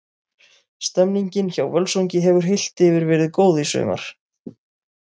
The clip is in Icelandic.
Stemmningin hjá Völsungi hefur heilt yfir verið góð í sumar.